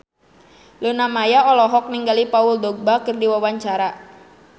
Luna Maya olohok ningali Paul Dogba keur diwawancara